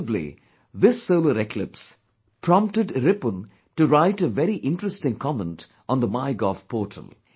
Possibly, this solar eclipse prompted Ripun to write a very interesting comment on the MyGov portal